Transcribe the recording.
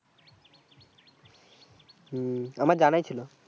হুম আমার জানাই ছিল